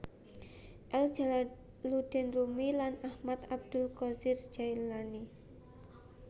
El Jalaluddin Rumi lan Ahmad Abdul qodir Jaelani